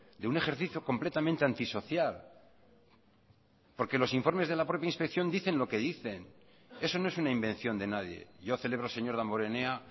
de un ejercicio completamente antisocial porque los informes de la propia inspección dicen lo que dicen eso no es una invención de nadie yo celebro señor damborenea